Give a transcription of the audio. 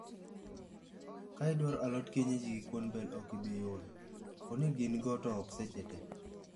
"Ka idwaro alot kienyeji gi kuon bel okibiyudo. Poni gin go to ok seche tee.